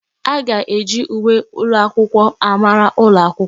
A ga-eji uwe ụlọakwụkwọ amara ụlọ akwụkwọ.